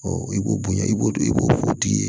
i b'o bonya i b'o i b'o tigi ye